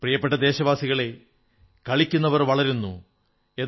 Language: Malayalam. പ്രിയപ്പെട്ട ദേശവാസികളേ കളിക്കുന്നവർ വളരുന്നു ഖേൽനേവാലേ ഖിലതേ ഹൈം